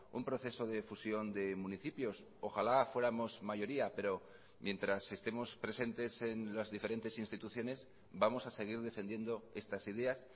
un proceso de fusión de municipios ojalá fuéramos mayoría pero mientras estemos presentes en las diferentes instituciones vamos a seguir defendiendo estas ideas